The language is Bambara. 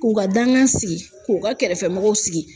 K'u ka dankan sigi k'u ka kɛrɛfɛmɔgɔw sigi.